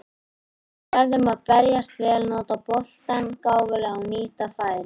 Við verðum að verjast vel, nota boltann gáfulega og nýta færin.